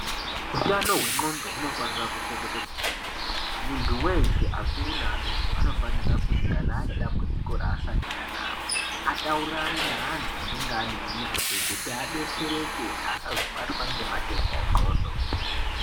Utano hwemuntu hunofanira kuchengetedzwa kwemene, muntu weshe akuru neadoko anofanira kuti kana anedambudziko raasangana naro ataurirane neantu anenge ane unyanzvi kuti adetsereke asazobatwa ngematenda enzxondo.